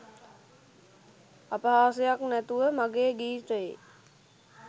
අපහාසයක් නැතුව මගේ ගීතයේ